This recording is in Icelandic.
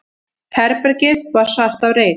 Herbergið var svart af reyk.